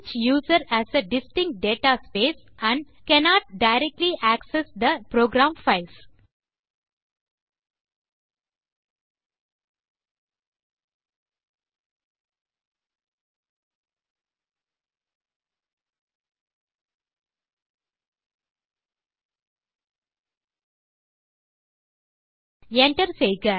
Enter செய்க